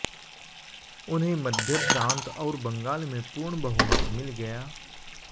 उन्हें मध्य प्रांत और बंगाल में पूर्ण बहुमत मिल गया